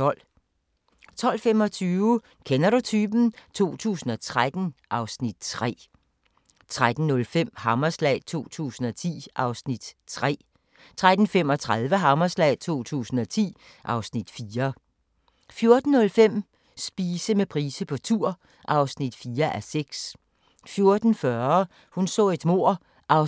12:25: Kender du typen? 2013 (Afs. 3) 13:05: Hammerslag 2010 (Afs. 3) 13:35: Hammerslag 2010 (Afs. 4) 14:05: Spise med Price på tur (4:6) 14:40: Hun så et mord (18:268)